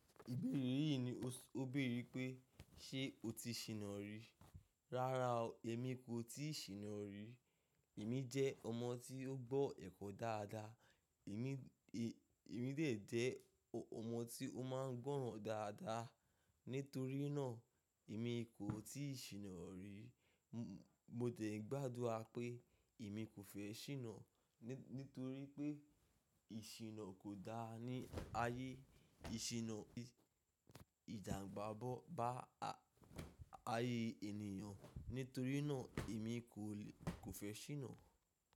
Ìbéèrè yìí ni ó béèrè pé, "Ṣé o ti ṣìnà ri?" Rárá o, èmi kò ti ṣìnà ri. Èmi jẹ́ ọmọ tí ó gbọ́ ẹ̀kọ́ dáadáa. Èmi, è, èmi dè jẹ́ ọmọ tí ó máa ń gbọ́ràn dáadáa. Nítorí náà, èmi kò ti ṣìnà ri. Mo dẹ̀ gbá adura pé èmi kò fẹ́ ṣìnà. Nítorí pé ìṣìnà kò dáa ní ayé. Ìṣìnà ìjan n ba bá ayé ènìyàn. Nítorí náà èmi kò lè, kò fẹ́ ṣìnà.